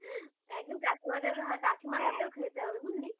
একদিন কাকিমাদের আর কাকিমার হাতেও খেতে হবে বুঝলি